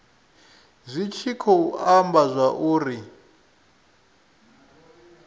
zwi tshi khou amba zwauri